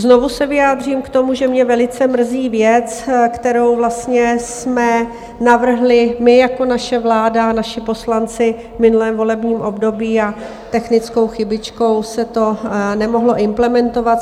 Znovu se vyjádřím k tomu, že mě velice mrzí věc, kterou vlastně jsme navrhli my jako naše vláda, naši poslanci, v minulém volebním období a technickou chybičkou se to nemohlo implementovat.